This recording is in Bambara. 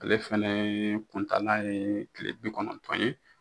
Ale fɛnɛ kuntanan ye kile bi kɔnɔntɔn ye.